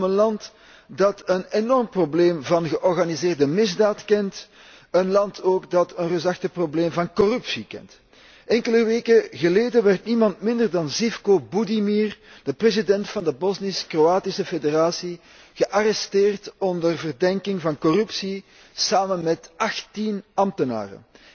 Het gaat om een land dat een enorm probleem van georganiseerde misdaad kent, een land ook dat een reusachtig probleem van corruptie kent. Enkele weken geleden werd niemand minder dan Živko Budimir, de president van de Bosnisch Kroatische federatie, gearresteerd onder verdenking van corruptie, samen met 18 ambtenaren.